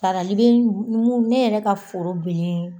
Sarali be ne yɛrɛ ka foro bilen